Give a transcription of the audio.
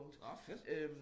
Nåh fedt